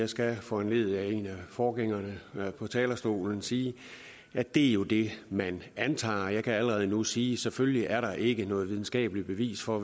skal foranlediget af en af forgængerne på talerstolen sige at det jo er det man antager jeg kan allerede nu sige at selvfølgelig er der ikke noget videnskabeligt bevis for